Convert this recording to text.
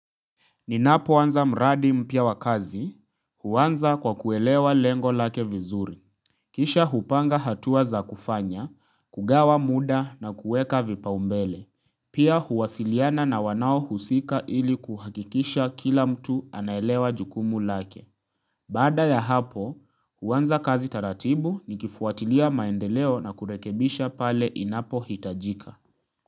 Ninapoanza mradi mpya wa kazi, huanza kwa kuelewa lengo lake vizuri. Kisha hupanga hatua za kufanya, kugawa muda na kuweka vipaumbele. Pia huwasiliana na wanaohusika ili kuhakikisha kila mtu anaelewa jukumu lake. Baada ya hapo, huanza kazi taratibu nikifuatilia maendeleo na kurekebisha pale inapo hitajika.